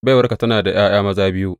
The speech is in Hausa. Baiwarka tana da ’ya’ya maza biyu.